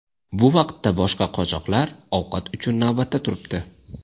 Bu vaqtda boshqa qochoqlar ovqat uchun navbatda turibdi.